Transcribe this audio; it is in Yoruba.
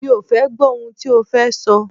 Mi ò fẹ́ gbọ́ ohun tí o fẹ́ sọ!